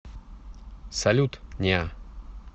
салют неа